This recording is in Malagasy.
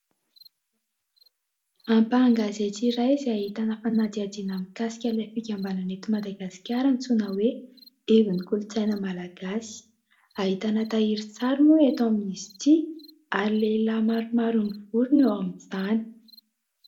Ampahan-gazety iray izay ahitana fanadihadihana mikasika ilay fikambanana eto Madagasikara antsoina hoe '' Ivo ny kolontsaina malagasy''. Ahitana tahirin-tsary moa eto amin'izy ity ary lehilahy maromaro mivory no eo amin'ny tany.